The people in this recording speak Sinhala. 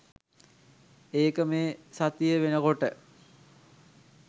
ඒක මේ සතිය වෙනකොට.